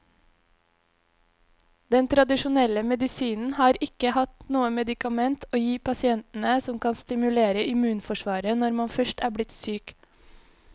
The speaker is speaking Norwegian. Den tradisjonelle medisinen har ikke hatt noe medikament å gi pasientene som kan stimulere immunforsvaret når man først er blitt syk.